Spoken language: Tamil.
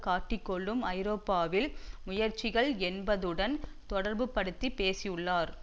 காட்டிக் கொள்ளும் ஐரோப்பாவின் முயற்சிகள் என்பதுடன் தொடர்புபடுத்தி பேசியுள்ளார்